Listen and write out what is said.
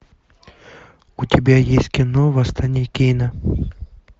у тебя есть кино восстание кейна